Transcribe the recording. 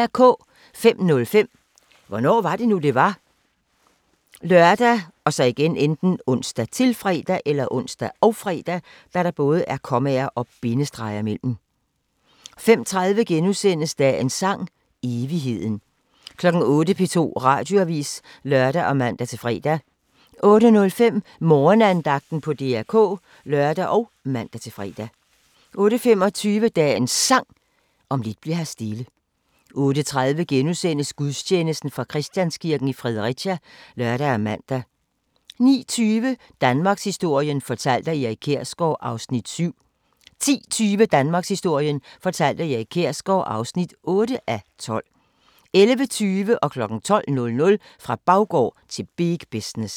05:05: Hvornår var det nu, det var? ( lør, ons, -fre) 05:30: Dagens Sang: Evigheden * 08:00: P2 Radioavis (lør og man-fre) 08:05: Morgenandagten på DR K (lør og man-fre) 08:25: Dagens Sang: Om lidt bli'r her stille 08:30: Gudstjeneste fra Christianskirken, Fredericia *(lør og man) 09:20: Danmarkshistorien fortalt af Erik Kjersgaard (7:12) 10:20: Danmarkshistorien fortalt af Erik Kjersgaard (8:12) 11:20: Fra baggård til big business 12:00: Fra baggård til big business